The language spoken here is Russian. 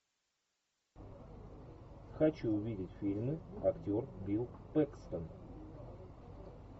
хочу увидеть фильмы актер билл пэкстон